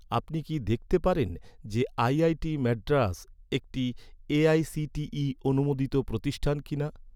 আপনি কি দেখতে পারেন যে, আইআইটি মাদ্রাস একটি এ.আই.সি.টি.ই অনুমোদিত প্রতিষ্ঠান কিনা?